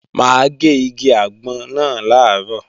Mà á gé igi àgbọn náà làárọ̀